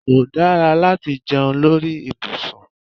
Kó dára láti jẹun lórí ibùsùn